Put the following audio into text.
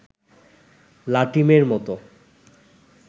লাটিমের মতো